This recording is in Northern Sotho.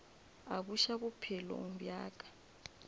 a buša bophelong bja ka